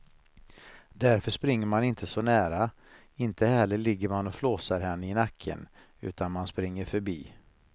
Därför springer man inte så nära, inte heller ligger man och flåsar henne i nacken utan man springer förbi.